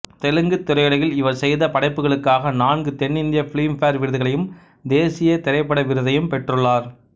தெலுங்குத் திரையுலகில் இவர் செய்த படைப்புகளுக்காக நான்கு தென்னிந்திய பிலிம்பேர் விருதுகளையும் தேசிய திரைப்பட விருதையும் பெற்றுள்ளார்